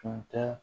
Tun tɛ